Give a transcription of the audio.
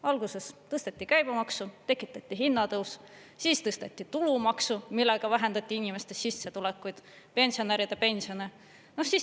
Alguses tõsteti käibemaksu, tekitati hinnatõus, siis tõsteti tulumaksu, millega vähendati inimeste sissetulekuid, pensionäride pensione.